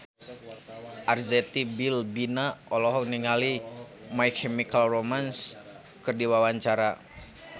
Arzetti Bilbina olohok ningali My Chemical Romance keur diwawancara